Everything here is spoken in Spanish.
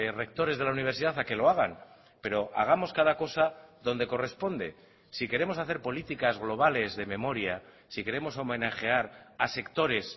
rectores de la universidad a que lo hagan pero hagamos cada cosa donde corresponde si queremos hacer políticas globales de memoria si queremos homenajear a sectores